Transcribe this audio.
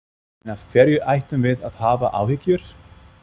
En af hverju ættum við að hafa áhyggjur?